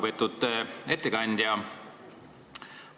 Väga lugupeetud ettekandja!